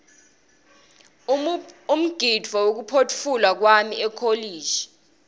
umgidvo wekuphotfulwa kwami ekolishi